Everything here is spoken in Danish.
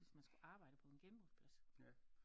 Hvis man skulle arbejde på en genbrugsplads